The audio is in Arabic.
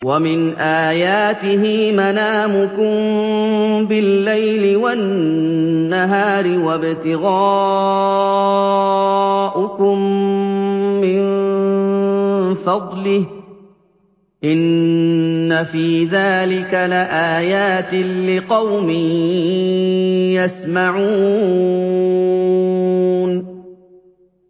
وَمِنْ آيَاتِهِ مَنَامُكُم بِاللَّيْلِ وَالنَّهَارِ وَابْتِغَاؤُكُم مِّن فَضْلِهِ ۚ إِنَّ فِي ذَٰلِكَ لَآيَاتٍ لِّقَوْمٍ يَسْمَعُونَ